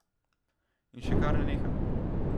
In še kar ne neha.